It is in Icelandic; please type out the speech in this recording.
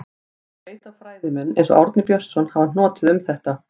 Ég veit að fræðimenn, eins og Árni Björnsson, hafa hnotið um þetta.